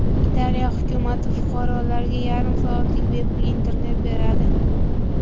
Italiya hukumati fuqarolarga yarim soatlik bepul internet beradi.